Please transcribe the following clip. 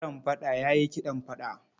Narambaɗa ya yi kiɗan fada.